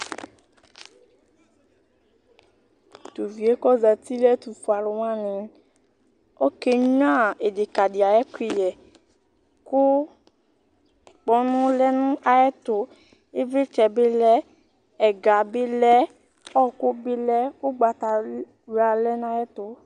T'uvie kozati n'ɛtʋfue alʋwa lɔ ,okenyuǝ ɩfɩkadɩ ay'ɛkʋyɛ kʋ kpɔnɔ lɛ nʋ ayɛtʋ Ɩvɩtsɛ bɩ lɛ ɛga bɩ lɛ ,ɔɔkʋ bɩ lɛ ,ʋgbata wl wla lɛ n'ayɛtʋ